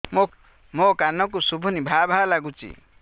ମୋ କାନକୁ ଶୁଭୁନି ଭା ଭା ଲାଗୁଚି